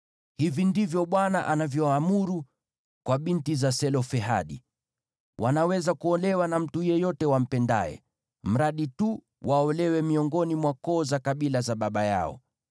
Hivi ndivyo Bwana anavyoamuru kwa binti za Selofehadi: Wanaweza kuolewa na mtu yeyote wampendaye, mradi tu waolewe miongoni mwa koo za kabila za baba yao.